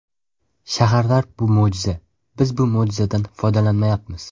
Shaharlar bu mo‘jiza, biz bu mo‘jizadan foydalanmayapmiz.